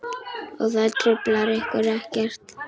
Og það truflar ykkur ekkert?